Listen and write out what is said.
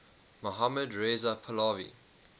mohammad reza pahlavi